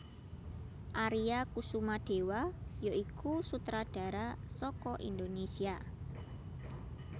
Aria Kusumadewa ya iku sutradara saka Indonésia